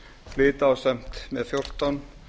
flyt ásamt með fjórtán